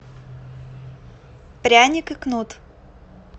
пряник и кнут